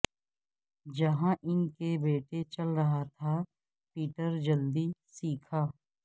جہاں ان کے بیٹے چل رہا تھا پیٹر جلدی سیکھا